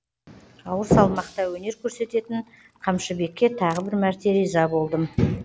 ауыр салмақта өнер көрсететін қамшыбекке тағы бір мәрте риза болдым